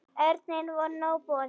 Erni var nóg boðið.